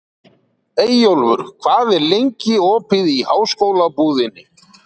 Eyjólfur, hvað er lengi opið í Háskólabúðinni?